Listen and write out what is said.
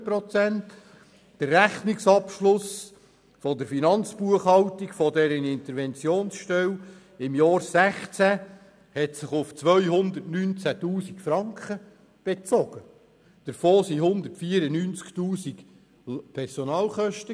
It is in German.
Der Rechnungsabschluss der Finanzbuchhaltung dieser Interventionsstelle im 2016 belief sich auf 219 000 Franken, davon waren 194 000 Franken Personalkosten.